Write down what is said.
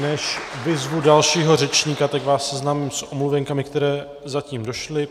Než vyzvu dalšího řečníka, tak vás seznámím s omluvenkami, které zatím došly.